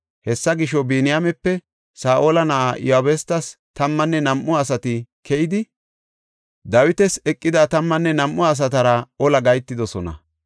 Hessa gisho, Biniyaamepe Saa7ola na7aa Iyabustes tammanne nam7u asati keyidi, Dawitas eqida tammanne nam7u asatara ola gahetidosona.